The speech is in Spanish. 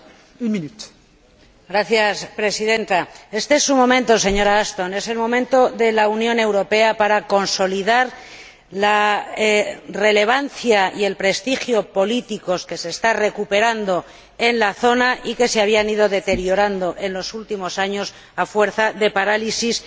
Señora Presidenta, este es su momento, señora Ashton, es el momento de la Unión Europea para consolidar la relevancia y el prestigio políticos que se están recuperando en la zona y que se habían ido deteriorando en los últimos años a fuerza de parálisis y de bloqueos.